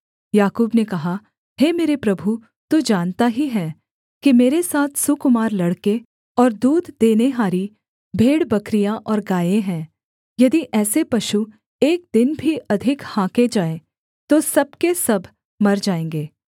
याकूब ने कहा हे मेरे प्रभु तू जानता ही है कि मेरे साथ सुकुमार लड़के और दूध देनेहारी भेड़बकरियाँ और गायें है यदि ऐसे पशु एक दिन भी अधिक हाँके जाएँ तो सब के सब मर जाएँगे